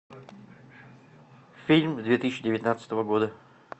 фильм две тысячи девятнадцатого года